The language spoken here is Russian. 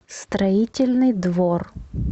строительный двор